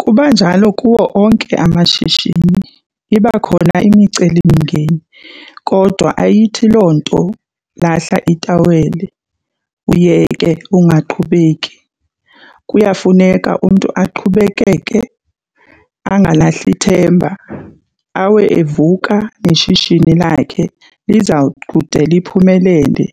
Kubanjalo kuwo onke amashishini iba khona imicelimngeni kodwa ayithi loo nto lahla itaweli uyeke ungaqhubeki. Kuyafuneka umntu aqhubekeke angalahli themba, awe evuka neshishini lakhe lizawukude liphumelele.